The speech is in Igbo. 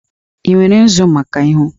Ị nwere nzu maka ihu?